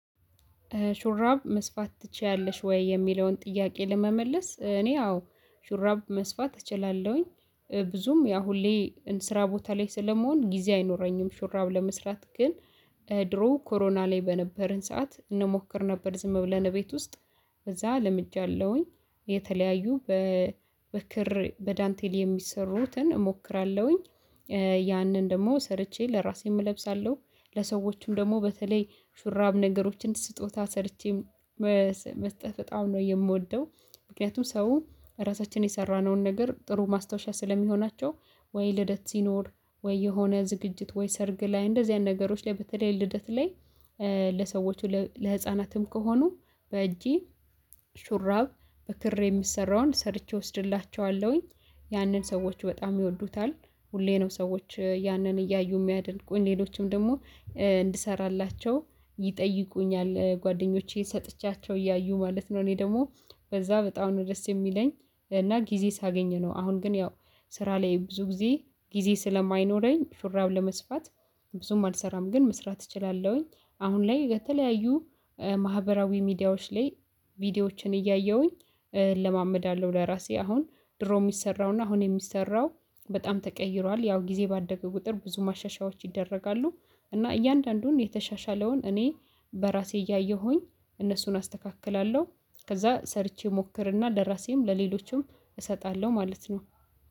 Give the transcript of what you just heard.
ሹራብ መስፋት ትቺያለሽ ወይ? የሚለውን ጥያቄ ለመመለስ እኔ አዎ ሹራብ መስፋት እችላለሁኝ ብዙም ያ ሁሌ ስራ ቦታ ላይ ስለመሆን ጊዜ አይኖረኝም። ሹራብ ለመስራት ግን ድሮ ኮሮና ላይ በነበርን ሰዓት እንሞክር ነበር ዝም ብለን ቤት ውስጥ እዛ ለምጃለሁኝ የተለያዩ በክር በዳንቴል የሚሰሩትን እሞክራለሁኝ። ያንን ደግሞ ሰርቼ ለራሴም እለብሳለሁ ለሰዎቹም ደግሞ በተለይ ሹራብ ነገሮችን ስጦታ ሰርቸም መስጠት በጣም ነው የምወደው። ምክንያቱም ሰው ራሳችን የሰራነውን ነገር ጥሩ ማስታወሻ ስለሚሆናቸው። ወይ ልደት ሲኖር ወይ የሆነ ዝግጅት ወይ ሰርግ ላይ እንደዚያን ነገሮች ላይ በተለይ ልደት ላይ። ለሰዎቹ ለህፃናትም ከሆኑ በእጄ ሹራብ በክር የሚሰራውን ሰርቼ እወስድላችኋለሁኝ ያንን ሰዎች በጣም ይወዱታል። ሁሌ ነው ሰዎች ያንን እያዩ የሚያደንቁኝ ሌሎችም ደግሞ እንድሰራላቸው ይጠይቁኛል። ጓደኞቼ ሰጥቻቸው እያዩ ማለት ነው። እኔ ደግሞ በዛ በጣም ነው ደስ የሚለኝ። እና ጊዜ ሳገኝ ነው አሁን ግን ያው ስራ ላይ ብዙ ጊዜ ጊዜ ስለማይኖረኝ ሹራብ ለመስፋት። ብዙም አልሰራም ግን መስራት እችላለሁኝ። አሁን ላይ በተለያዩ ማህበራዊ ሚዲያዎች ላይ ቪዲዮዎችን እያየሁኝ እለማመዳለሁ። ለራሴ አሁን ድሮ የሚሰራውና አሁን የሚሰራው በጣም ተቀይሯል ያው ጊዜ ባደገ ቁጥር ብዙ ማሻሻያዎች ይደረጋሉ። እና እያንዳንዱን የተሻሻለውን እኔ በራሴ እያየሁኝ እነሱን አስተካክላለሁ። ከዛ ሰርቼ ሞክርና ለራሴም ለሌሎችም እሰጣለሁ ማለት ነው።